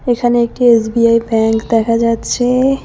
এখানে একটি SBI bank দেখা যাচ্ছে।